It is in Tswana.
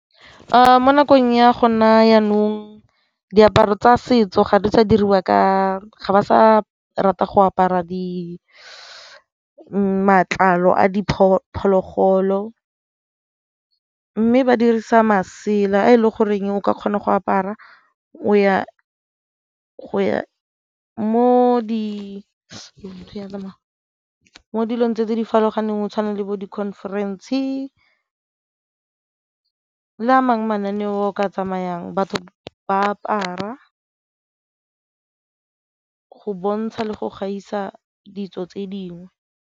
Mo nakong ya go na jaanong diaparo tsa setso ga di sa diriwa ka, ga ba sa rata go apara di matlalo a diphologolo mme ba dirisa masela a e le goreng o ka kgona go apara mo dilong tse di farologaneng go tshwana le bo di-conference le a mangwe mananeo a ka tsamayang batho ba apara go bontsha le go gaisa ditso tse dingwe.